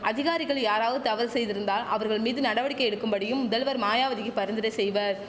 அதிகாரிகள் யாராவது தவறு செய்திருந்தால் அவர்கள் மீது நடவடிக்கை எடுக்கும்படியும் முதல்வர் மாயாவதிக்கி பரிந்துரை செய்வர்